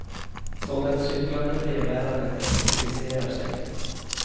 Så den cyklande brevbäraren effektiviserar sig.